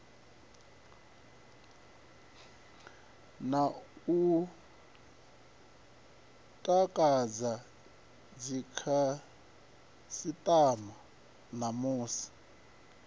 na u takadza dzikhasitama namusi